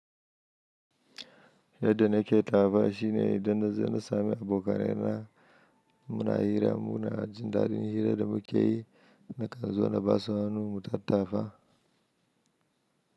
Yadda nake tafa shine idan na za ni sami abokanaina muna hira, muna jin daɗin hira da muke yi, nakan zo na basu hannu mu tattafa.